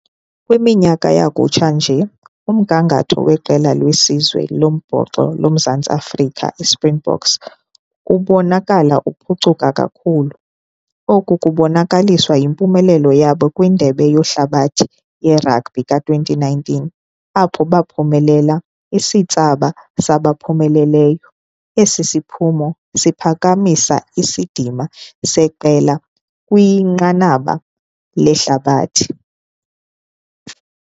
Kwiminyaka yakutsha nje umgangatho weqela lesizwe lombhoxo loMzantsi Afrika, iSpringboks, kubonakala kuphucuka kakhulu. Oku kubonakaliswa yimpumelelo yabo kwindebe yehlabathi yeragbhi k- twenty nineteen apho baphumelela isithsaba sabaphumeleleyo. Esi siphumo siphakamisa isidima seqela kwinqanaba lehlabathi.